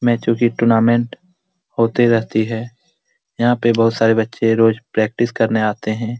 मैचो की टूर्नामेंट होते रहती है यहाँ पे बहुत सारे बच्चे रोज प्रैक्टिस करने आते हैं ।